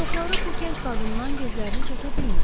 Çoxları bu gənc qadından gözlərini çəkə bilmirdi.